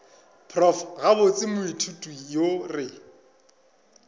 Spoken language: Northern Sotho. prof gabotse moithuti yo re